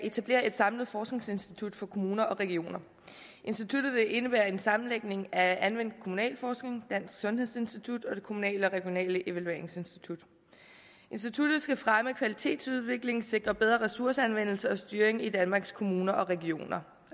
etablere et samlet forskningsinstitut for kommuner og regioner instituttet vil indebære en sammenlægning af anvendt kommunalforskning dansk sundhedsinstitut og det kommunale og regionale evalueringsinstitut instituttet skal fremme kvalitetsudviklingen og sikre bedre ressourceanvendelse og styring i danmarks kommuner og regioner